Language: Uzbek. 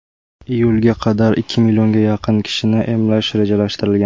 Iyulga qadar ikki millionga yaqin kishini emlash rejalashtirilgan.